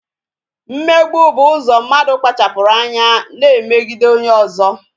Mmegbu bụ ụzọ mmadụ kpachapụrụ anya na-emegide onye ọzọ